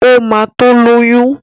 Ó ma tó lóyún